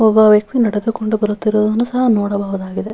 ಒಬ್ಬ ವ್ಯಕ್ತಿ ನಡೆದುಕೊಂಡು ಬರುತ್ತಿರುವುದನ್ನು ಸಹ ನೋಡಬಹುದಾಗಿದೆ.